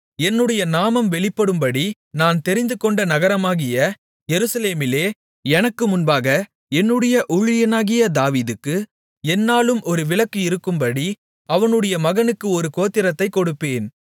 என்னுடைய நாமம் வெளிப்படும்படி நான் தெரிந்துகொண்ட நகரமாகிய எருசலேமிலே எனக்கு முன்பாக என்னுடைய ஊழியனாகிய தாவீதுக்கு எந்நாளும் ஒரு விளக்கு இருக்கும்படி அவனுடைய மகனுக்கு ஒரு கோத்திரத்தைக் கொடுப்பேன்